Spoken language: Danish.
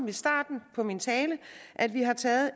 i starten af min tale at vi har taget